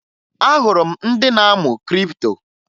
Ahụrụ ndị na-amụ kripto